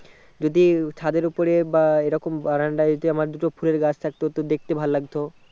যদি ছাদের ওপরে বা এই রকম বারান্দায় যদি আমার দুটো ফুলের গাছ থাকতো তো দেখতে ভালো লাগতো